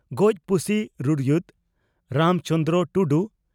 ᱜᱚᱡ ᱯᱩᱥᱤ ᱨᱩᱨᱩᱭᱩᱫ (ᱨᱟᱢ ᱪᱚᱸᱱᱫᱨᱚ ᱴᱩᱰᱩ)